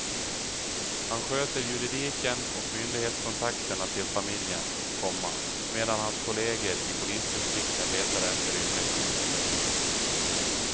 Han sköter juridiken och myndighetskontakterna till familjen, komma medan hans kolleger i polisdistrikten letar efter rymlingarna. punkt